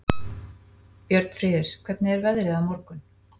Björnfríður, hvernig er veðrið á morgun?